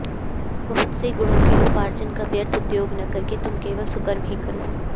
बहुत से गुणों के उपार्जन का व्यर्थ उद्योग न करके तुम केवल सुकर्म ही करो